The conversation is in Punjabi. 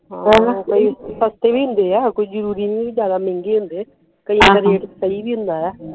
ਸਸਤੀ ਵੀ ਹੁੰਦੀ ਆ ਕੋਈ ਜਰੂਰੀ ਨਹੀਂ ਵੀ ਜਿਆਦਾ ਮਹਿੰਗੀ ਹੁੰਦੇ ਕਈਆਂ ਦੇ rate ਸਹੀ ਵੀ ਹੁੰਦਾ ਵਾ